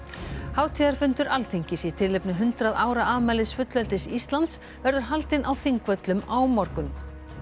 hátíðarfundur Alþingis í tilefni hundrað ára afmælis fullveldis Íslands verður haldinn á Þingvöllum á morgun